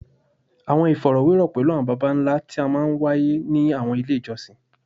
Awọn ifọrọwerọ pẹlu awọn baba nla ti a maa n waye ni awọn ile ijọsin